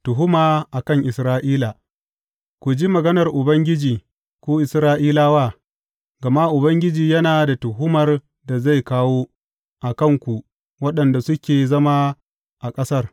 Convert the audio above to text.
Tuhuma a kan Isra’ila Ku ji maganar Ubangiji, ku Isra’ilawa, gama Ubangiji yana da tuhumar da zai kawo a kan ku waɗanda suke zama a ƙasar.